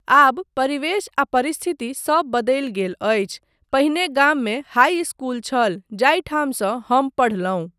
आब परिवेश आ परिस्थिति सब बदलि गेल अछि, पहिने गाममे हाइ इस्कूल छल जाहि ठामसँ हम पढ़लहुँ।